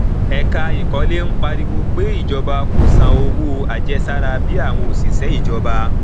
ẹka ìkọlé ń pariwo pé ìjọba kò san owó àjẹsára bí àwọn òṣìṣẹ ìjọba